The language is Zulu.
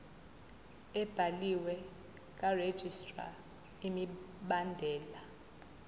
ebhaliwe karegistrar imibandela